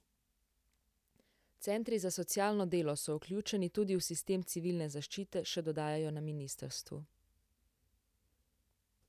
Centri za socialno delo so vključeni tudi v sistem civilne zaščite, še dodajajo na ministrstvu.